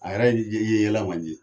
A yɛrɛ ye i ye yɛlɛ man di.